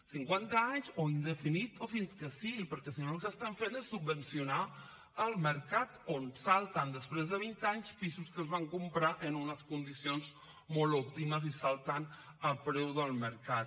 cinquanta anys o indefinits o fins que sigui perquè si no el que estan fent és subvencionar el mercat on salten després de vint anys pisos que es van comprar en unes condicions molt òptimes i salten a preu del mercat